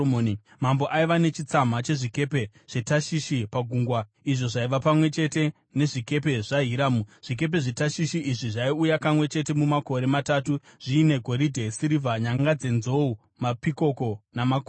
Mambo aiva nechitsama chezvikepe zveTashishi pagungwa izvo zvaiva pamwe chete nezvikepe zvaHiramu. Zvikepe zveTashishi izvi zvaiuya kamwe chete mumakore matatu zviine goridhe, sirivha, nyanga dzenzou, mapikoko namakudo.